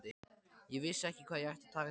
Ég vissi ekki hvað ég ætti að taka til bragðs.